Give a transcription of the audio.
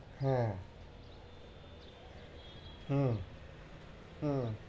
হ্যাঁ হম হ্যাঁ হম